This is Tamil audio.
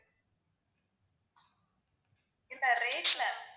இல்ல rate ல